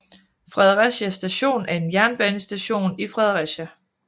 Fredericia Station er en jernbanestation i Fredericia